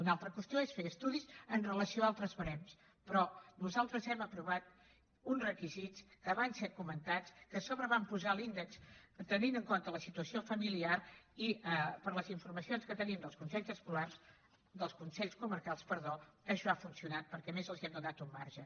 una altra qüestió és fer estudis amb relació a altres barems però nosaltres hem aprovat uns requisits que van ser comentats que a sobre hi vam posar l’índex tenint en compte la situació familiar i per les informacions que tenim dels consells comarcals això ha funcionat perquè a més els hem donat un marge